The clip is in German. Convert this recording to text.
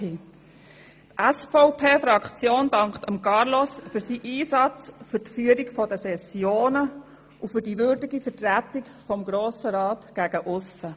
Die SVP-Fraktion dankt Carlos Reinhard für seinen Einsatz, die Führung der Sessionen und die würdige Vertretung des Grossen Rats gegen aussen.